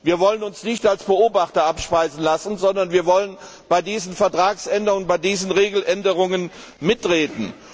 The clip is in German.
Wir wollen uns nicht als Beobachter abspeisen lassen, sondern wir wollen bei diesen Vertragsänderungen, bei diesen Regeländerungen mitreden.